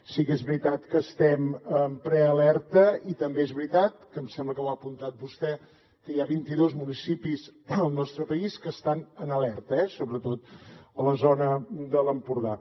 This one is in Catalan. sí que és veritat que estem en prealerta i també és veritat que em sembla que ho ha apuntat vostè que hi ha vint idos municipis al nostre país que estan en alerta eh sobretot a la zona de l’empordà